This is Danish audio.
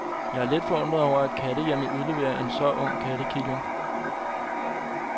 Jeg er lidt forundret over, at kattehjemmet udleverer en så ung kattekilling.